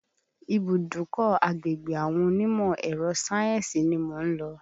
Ibùdọ́kọ̀ agbègbè àwọn onímọ̀ ẹrọ sáyẹ́nsì ni mò ń lọ.